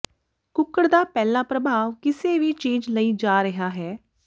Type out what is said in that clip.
ਕੁੱਕਡ਼ ਦਾ ਪਹਿਲਾ ਪ੍ਰਭਾਵ ਕਿਸੇ ਵੀ ਚੀਜ ਲਈ ਜਾ ਰਿਹਾ ਹੈ